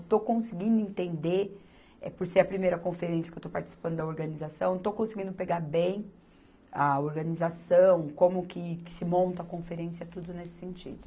Estou conseguindo entender, eh, por ser a primeira conferência que eu estou participando da organização, estou conseguindo pegar bem a organização, como que, que se monta a conferência, tudo nesse sentido.